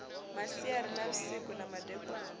masiari na vhusiku na kandekanya